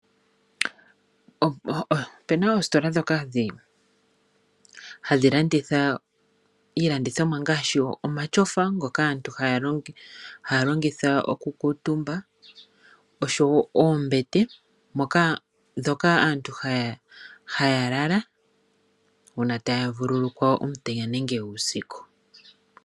Opu na oositola ndhoka hadhi landitha iilandithomwa ngaashi omatyofa ngoka aantu haya longitha okukutumba oshowo oombete ndhoka aantu haya lala uuna taya vululukwa omutenya nenge uusiku.